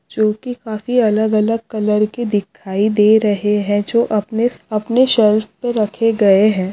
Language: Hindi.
जोकि काफी अलग-अलग कलर के दिखाई दे रहे हैं जो अपने स अपने शेल्फ पे रखे गए हैं।